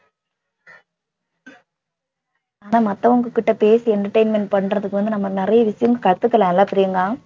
ஆனா மத்தவங்க கிட்ட பேசி entertainment பண்றதுக்கு வந்து நம்ம நிறைய விஷயம் கத்துக்கலாம் இல்ல பிரியங்கா